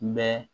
Mɛ